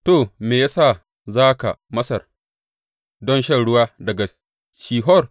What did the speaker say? To, me ya sa za ka Masar don shan ruwa daga Shihor?